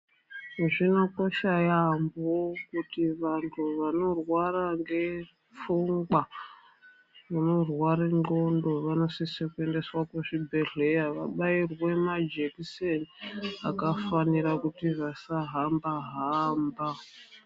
Zvinokosha yambo kuti vantu vanorwara ngepfungwa, vanorware ndxonto, vanosise kuendeswa kuzvibhedhleya, vabayirwe majekiseni, akafanira kuti vasahamba-hamba.